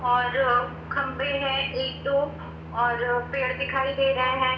और खम्भे है एक और पेड़ दिखाई दे रहा है।